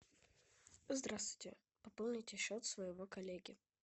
здравствуйте пополните счет своего коллеги